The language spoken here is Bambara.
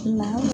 Na